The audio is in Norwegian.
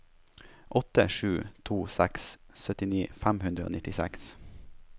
åtte sju to seks syttini fem hundre og nittiseks